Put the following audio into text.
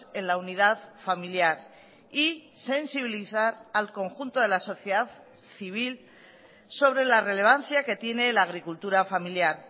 en la unidad familiar y sensibilizar al conjunto de la sociedad civil sobre la relevancia que tiene la agricultura familiar